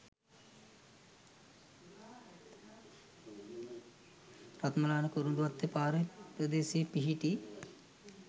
රත්මලාන කුරුඳුවත්ත පාර ප්‍රදේශයේ පිහිටි